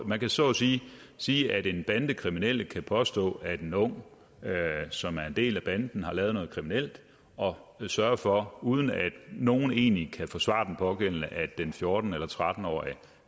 man kan så at sige sige at den bandekriminelle kan påstå at en ung som er en del af banden har lavet noget kriminelt og sørge for uden at nogen egentlig kan forsvare den pågældende at den fjorten eller tretten årige